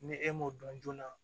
Ni e m'o dɔn joona